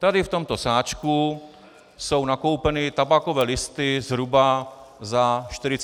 Tady v tomto sáčku jsou nakoupeny tabákové listy zhruba za 40 korun.